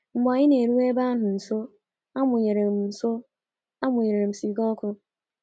Mgbe anyị na-eru ebe ahụ nso, amụnyere m nso, amụnyere m siga ọkụ.